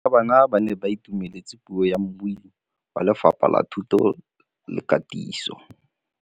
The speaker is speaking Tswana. Barutabana ba ne ba itumeletse puô ya mmui wa Lefapha la Thuto le Katiso.